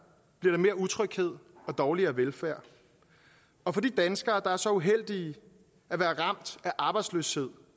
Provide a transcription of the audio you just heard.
bliver der mere utryghed og dårligere velfærd og for de danskere der er så uheldige at være ramt af arbejdsløshed